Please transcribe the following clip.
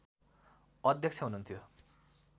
अध्यक्ष हुनुहुन्थ्यो